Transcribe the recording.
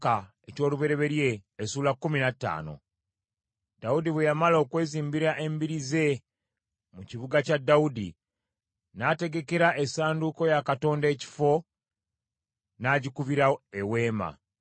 Dawudi bwe yamala okwezimbira embiri ze mu kibuga kya Dawudi, n’ategekera essanduuko ya Katonda ekifo, n’agikubira eweema.